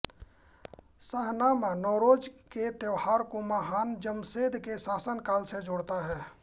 शाहनामा नौरोज़ के त्यौहार को महान जमशेद के शासनकाल से जोड़ता है